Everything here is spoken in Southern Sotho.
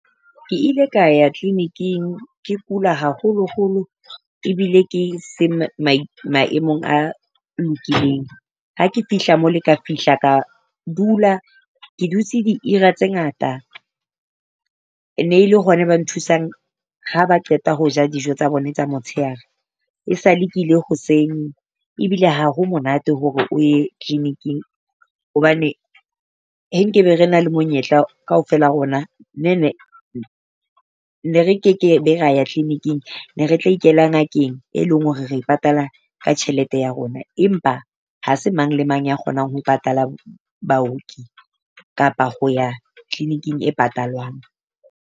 Ke ile ka ya kliniking, ke kula haholoholo ebile ke se maemong a lokileng. Ha ke fihla mole ka fihla ka dula, ke dutse di ira tse ngata. E ne e le hona ba nthusang ha ba qeta ho ja dijo tsa bona tsa motshehare. Esale ke ile hoseng ebile ha ha monate hore o ye kliniking, hobane he nkebe re na le monyetla kaofela rona ne ne ne re kekebe ra ya kliniking. Ne re tla ikela ngakeng, e leng hore re e patala ka tjhelete ya rona. Empa ha se mang le mang ya kgonang ho patala baoki kapa ho ya kliniking e patalwang.